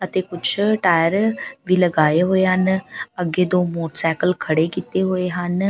ਅਤੇ ਕੁੱਛ ਟਾਇਰ ਵੀ ਲਗਾਏ ਹੋਏ ਹਨ ਅੱਗੇ ਦੋ ਮੋਟਰਸਾਈਕਲ ਖੜੇ ਕੀਤੇ ਹੋਏ ਹਨ।